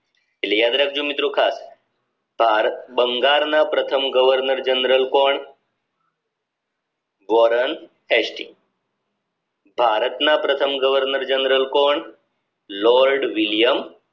એટલે યાદ રાખજો મિત્રો ખાસ ભારત બંગાળના પ્રથમ governor general કોણ વોરન હેસ્ટિ ભારત ના પ્રથમ governor general કોણ લોર્ડ વિલિયમ